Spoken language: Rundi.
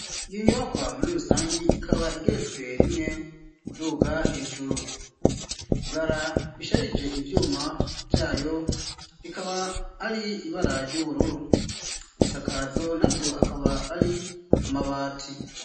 Iyo inyubakwa muri rusangi ikaba igeretswe rimwe uduga hejuru ibara bisharije ivyuma vyayo rikaba ari ibarary'ubururu ibisakazo na vyo akaba ari amabati.